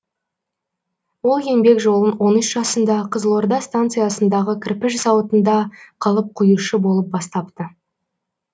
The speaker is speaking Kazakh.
ол еңбек жолын он үш жасында қызылорда станциясындағы кірпіш зауытында қалып құюшы болып бастапты